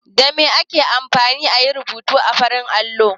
Da me ake amfani a yi rubutu a farin allo?